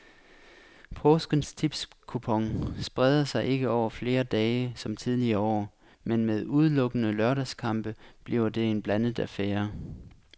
Påskens tipskupon spreder sig ikke over flere dage som tidligere år, men med udelukkende lørdagskampe bliver det en blandet affære.